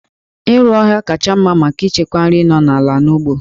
Iru ọhịa kacha mma maka ichekwa nri nọ n'ime ala n'ugbo